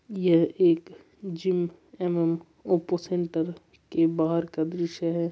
यह एक जिम एवम ओप्पो सेंटर की बाहर का दृश्य है।